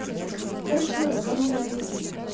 короче ладно там надо будет